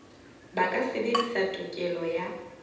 ba ka sebedisa tokelo ya